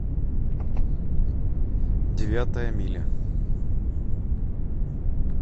девятая миля